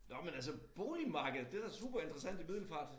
Nå men altså boligmarkedet det da super interessant i Middelfart